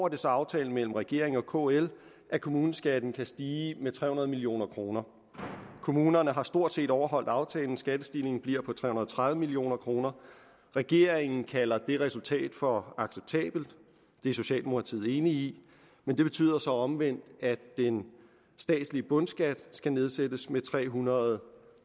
det så aftalen mellem regeringen og kl at kommuneskatten kan stige med tre hundrede million kroner kommunerne har stort set overholdt aftalen skattestigningen bliver på tre hundrede og tredive million kroner regeringen kalder det resultat for acceptabelt og det er socialdemokratiet enig i men det betyder så omvendt at den statslige bundskat skal nedsættes med tre hundrede og